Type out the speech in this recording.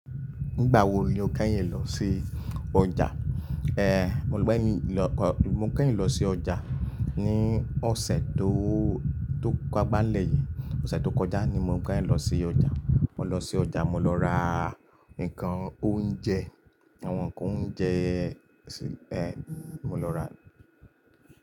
Nígbà wo ni o kẹ́yìn lọ sí ọjà? Ehn, mo gbẹ́ mi, mo kẹ́yìn lọ sí ọjà ní ọ̀sẹ̀ tó, tó kápa n lẹ̀ yìí. Ọ̀sẹ̀ tó kọjá ni mo kẹ́yìn lọ sí ọjà. Mo lọ sí ọjà, mo lọ ra nǹkan oúnjẹ, àwọn nǹkan oúnjẹ, ehn, mo lọ rà.